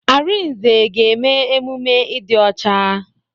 Arinze ga-eme emume ịdị ọcha.